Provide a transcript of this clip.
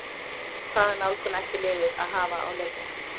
Hvaða nálgun ætti liðið að hafa á leikina?